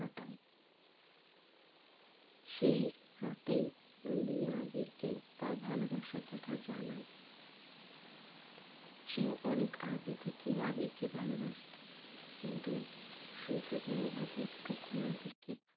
সেই রাতেই নন্দিনী আবিরকে তার ভালোবাসার কথা জানাই। সে অনেক আগে থেকেই আবির কে ভালোবাসতো কিন্তু সুযোগের অভাবে কোনো আবিরকে